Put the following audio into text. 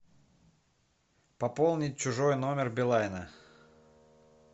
пополнить чужой номер билайна